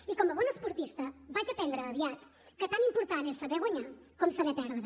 i com a bona esportista vaig aprendre aviat que tan important és saber guanyar com saber perdre